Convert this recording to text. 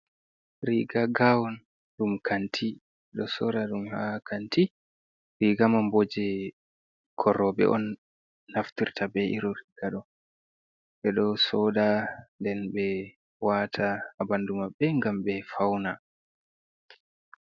Riga gawon ɗum kanti. Do sora dum ha kanti. Riga manbo je bikkon roobe on naftirta be iro riga ɗo. Be ɗo sooɗa den be wata ha bandu mabbe ngam be fauna.